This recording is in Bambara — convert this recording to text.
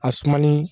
A suma ni